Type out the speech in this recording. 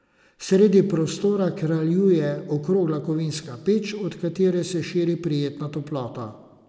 Sredi prostora kraljuje okrogla kovinska peč, od katere se širi prijetna toplota.